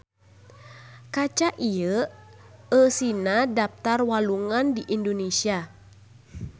Kaca ieu eusina daptar walungan di Indonesia.